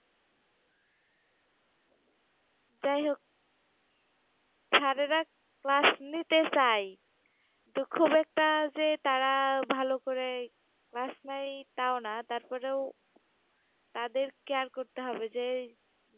যাই হোক Sir -এরা class নিতে চায়, তো খুব একটা যে তারা ভালো করে class নেয় তাও না তারপরেও তাদের care করতে হবে যে